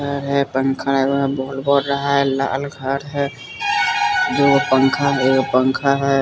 घर है पंखा है वहां बोल बड़ रहा है लाल घर है दू गो पंखा है एगो पंखा है।